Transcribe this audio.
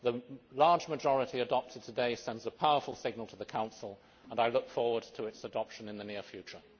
The large majority today sends a powerful signal to the Council, and I look forward to adoption in the near future.